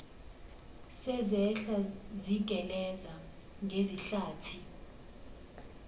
sezehla zigeleza ngezihlathi